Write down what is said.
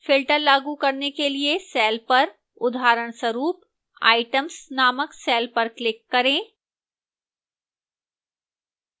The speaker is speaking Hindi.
filter लागू करने के लिए cell पर उदाहरणस्वरूप items named cell पर click करें